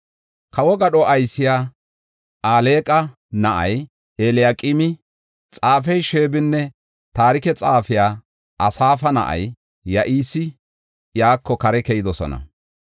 Kawo gadho aysiya Alqa na7ay Eliyaqeemi, xaafey Sheebinne, taarike xaafey, Asaafa na7ay, Yo7aasi iyako kare keyidosona.